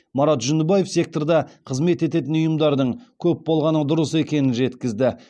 марат жүндібаев секторда қызмет ететін ұйымдардың көп болғаны дұрыс екенін жеткізді